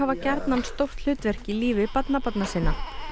gjarnan stóru hlutverki í lífi barnabarna sinna